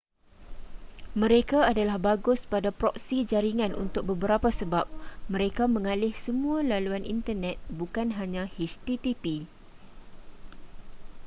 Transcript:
mereka adalah bagus pada proksi jaringan untuk beberapa sebab mereka mengalih semua laluan internet bukan hanya http